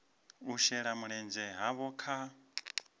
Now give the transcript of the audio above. u shela mulenzhe havho kha